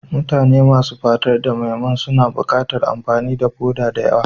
Mutane masu fatar da mai man suna buƙatar amfani da foda da yawa.